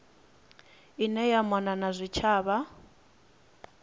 ine ya mona na zwitshavha